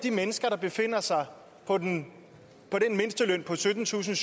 de mennesker der befinder sig på den mindsteløn på syttentusinde